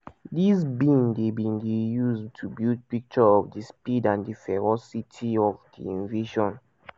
dis bin dey bin dey used to build picture of di speed and di ferocity of di invasion.